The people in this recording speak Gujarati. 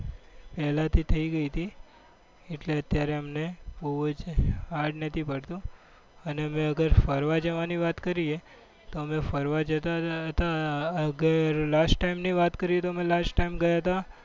પહેલાથી થઈ ગઈ તી એટલે અત્યારે અમને બહુ જ hard નથી પડતું અને અમે અગર ફરવા જવાની વાત કરીએ તો અમે ફરવા જતા હતા. last time ની વાત કરીએ તો અમે last time ગયા હતા